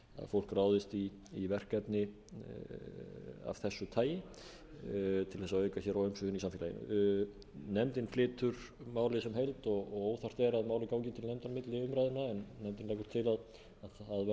fólk ráðist í verkefni af þessu tagi til þess að auka hér á umsvifin í samfélaginu nefndin flytur málið sem heild og óþarft er að málið til nefndar milli umræðna en nefndin